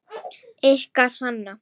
Ykkar Hanna.